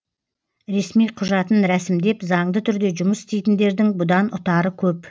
ресми құжатын рәсімдеп заңды түрде жұмыс істейтіндердің бұдан ұтары көп